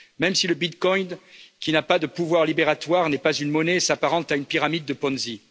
Même si le Bitcoin, qui n'a pas de pouvoir libératoire, n'est pas une monnaie et s'apparente à une pyramide de Ponzi.